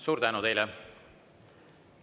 Suur tänu teile!